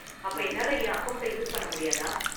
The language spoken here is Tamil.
அப்ப என்னால என் அக்கவுண்ட்ட யூஸ் பண்ண முடியாதா?